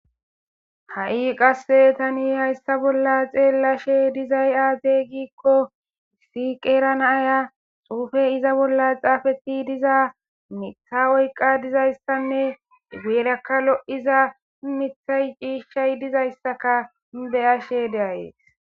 Ha7i qasse tani hayssa bolla xeellashe dizay aate giikko issi qeerana aya suufe iza bolla xaafeti diza mitha oyqa dizayssanne geerakka lo7iza mithay ciishshay dizayssaka beyashe deayees.